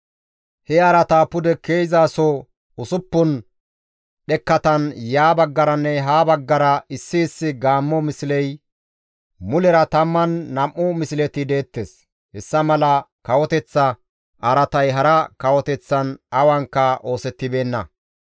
He araataa pude ke7izaso usuppun dhekkatan ya baggaranne ha baggara issi issi gaammo misley, mulera 12 misleti deettes. Hessa mala kawoteththa araatay hara kawoteththan awankka oosettibeenna.